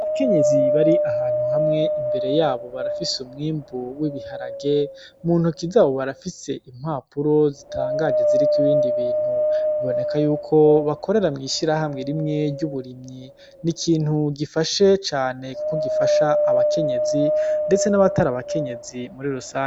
Abakenyezi bari ahantu hamwe, imbere yabo barafise umwimbu w'ibiharage, muntoki zabo barafise impapuro zitangaje ziriko ibindi bintu, biboneka yuko bakorera mw'ishirahamwe imwe ry'uburimyi n'ikintu gifashe cane kuko gifasha abakenyezi ndetse nabatari abakenyezi muri rusangi.